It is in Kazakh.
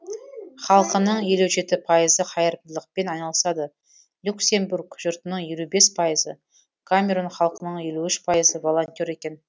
халқының елу жеті пайызы қайырымдылықпен айналысады люксембург жұртының елу бес пайызы камерун халқының елу үш пайызы волонтер екен